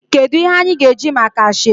Kedu ihe anyi ga eji maka asoebi?